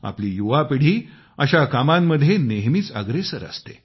आपली युवा पिढी अशा कामांमध्ये नेहमीच अग्रेसर असते